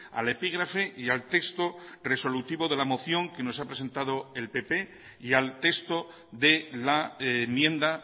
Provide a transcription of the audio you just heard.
al epígrafe y al texto resolutivo de la moción que nos ha presentado el pp y al texto de la enmienda